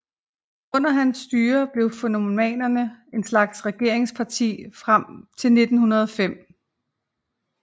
Under hans styre blev fennomanerne en slags regeringsparti frem til 1905